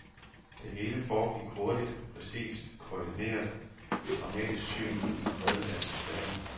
Det hele foregår hurtigt, præcist, koordineret, et dramatisk syn i en fredelig atmosfære.